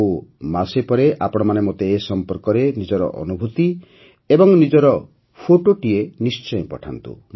ଆଉ ମାସେ ପରେ ଆପଣମାନେ ମୋତେ ଏ ସମ୍ପର୍କରେ ନିଜର ଅନୁଭୂତି ଏବଂ ନିଜର ଫଟୋଟିଏ ନିଶ୍ଚୟ ପଠାନ୍ତୁ